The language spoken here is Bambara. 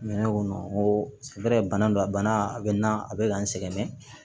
Mɛ ne ko n ko bana don a bana a bɛ na a bɛ ka n sɛgɛn